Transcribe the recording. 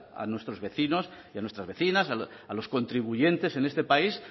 a nuestros vecinos y a nuestras vecinas a los contribuyentes en este país